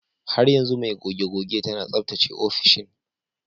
Har yanzu mai goge-goge tana tsaftace ofishin.